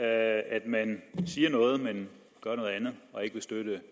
at man siger noget men gør noget andet og ikke vil støtte